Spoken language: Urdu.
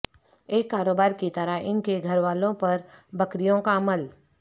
ایک کاروبار کی طرح ان کے گھر والوں پر بکریوں کا عمل